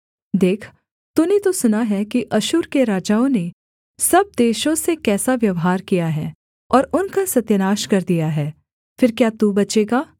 देख तूने तो सुना है कि अश्शूर के राजाओं ने सब देशों से कैसा व्यवहार किया है और उनका सत्यानाश कर दिया है फिर क्या तू बचेगा